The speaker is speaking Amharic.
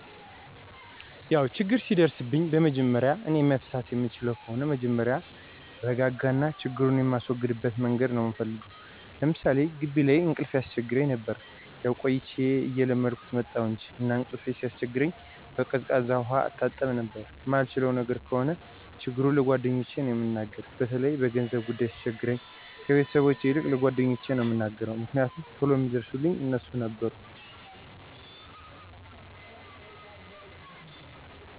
ያው ችግር ሲደርስብኝ በመጀመሪያ እኔ መፍታት የምችለው ከሆነ መጀመሪያ እረጋጋና ችግሩን የማስወግድበት መንገድ ነው ምፈልገው። ለምሳሌ ጊቢ ላይ እንቅልፍ ያስቸግረኝ ነበር። ያው ቆይቼ እየለመድሁት መጣሁ እንጅ። እና እንቅልፌ ሲያስቸግረኝ በቀዝቃዛ ውሀ እታጠብ ነበረ። ማልችለው ነገር ከሆነ ችግሩን ለጓደኞቼ ነው እምናገር። በተለይ በገንዘብ ጉዳይ ሲቸግረኝ ከቤተሰቦቼ ይልቅ ለጓደኞቼ ነው ምናገረው። ምክንያቱም ቶሎ ሚደርሱልኝ እነርሱ ነበሩ።